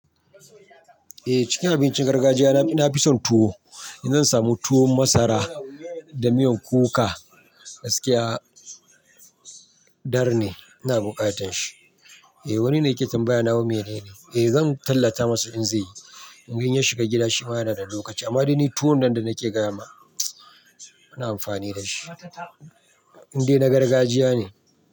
Eh cikin abincin gargajiya na ina fi son tuwo, in zan samu tuwo masara da miyan kuka gaskiya dar ne, ina buƙatan shi. Eh wani ne yake tambaya nawa menene. Eh zan tallata masa in zai yi. In ganye shiga gida shi ma yana da lokaci amma dai ni tuwon nanda nake gama ana amfani da shi. Inde na gargajiya ne.